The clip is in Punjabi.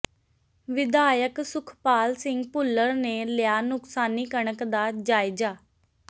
ਵਿਧਾਇਕ ਸੁਖਪਾਲ ਸਿੰਘ ਭੁੱਲਰ ਨੇ ਲਿਆ ਨੁਕਸਾਨੀ ਕਣਕ ਦਾ ਜਾਇਜ਼ਾ